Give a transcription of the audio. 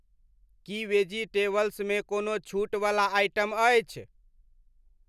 की vegetables मे कोनो छूटवला आइटम अछि?